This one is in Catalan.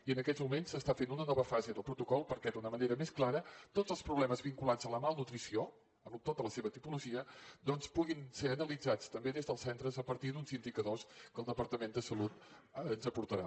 i en aquests moments s’està fent una nova fase del protocol perquè d’una manera més clara tots els problemes vinculats a la malnutrició amb tota la seva tipologia doncs puguin ser analitzats també des dels centres a partir d’uns indicadors que el departament de salut ens aportarà